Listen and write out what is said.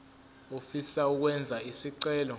ofisa ukwenza isicelo